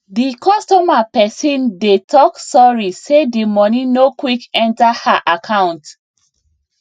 the customer person dey talk sorry say the money no quick enter her account